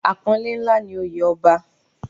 Apọnle ńlá ni oye ọba.